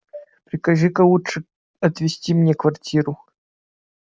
прикажи-ка лучше отвести мне квартиру